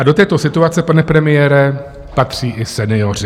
A do této situace, pane premiére, patří i senioři.